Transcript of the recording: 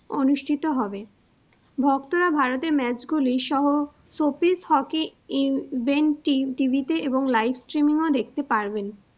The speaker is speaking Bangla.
অনুষ্ঠিত হবে। ভক্তরা ভারতের match গুলি সহ সোফিস হকি ইভেন্টিম টিভিতে এবং live streaming ও দেখতে পারবেন।